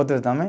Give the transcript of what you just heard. Outro também.